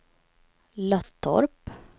Löttorp